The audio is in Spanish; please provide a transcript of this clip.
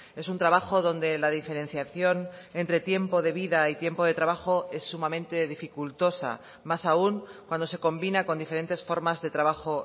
es un trabajo donde la diferenciación entre tiempo de vida y tiempo de trabajo es sumamente dificultosa más aun cuando se combina con diferentes formas de trabajo